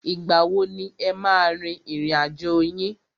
Ìgbà wo ni e máa a rin ìrìn àjò yín?